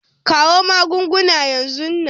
Kawo magunguna yanzu nan!